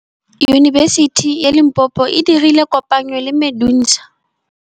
Yunibesiti ya Limpopo e dirile kopanyô le MEDUNSA.